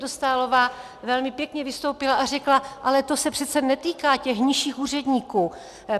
Dostálová velmi pěkně vystoupila a řekla "ale to se přece netýká těch nižších úředníků".